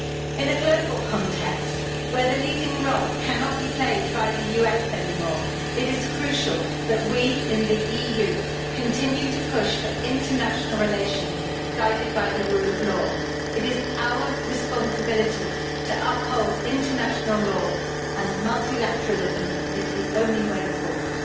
In a global context, where the leading role cannot be played by the US anymore, it is crucial that we in the EU continue to push for international relations guided by the rule of law. It is our responsibility to uphold international law, and multilateralism is the only way forward.